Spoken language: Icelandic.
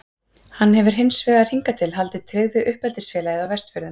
Hann hefur hins vegar hingað til haldið tryggð við uppeldisfélagið á Vestfjörðum.